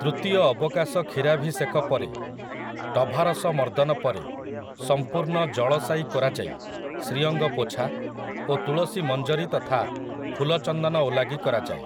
ତୃତୀୟ ଅବକାଶ କ୍ଷୀରାଭିଷେକ ପରେ ଟଭାରସ ମର୍ଦ୍ଦନ ପରେ ସମ୍ପୂର୍ଣ୍ଣ ଜଳଶାୟୀ କରାଯାଇ ଶ୍ରୀଅଙ୍ଗ ପୋଛା ଓ ତୁଳସୀ ମଞ୍ଜରୀ ତଥା ଫୁଲ ଚନ୍ଦନ ଓଲାଗି କରାଯାଏ ।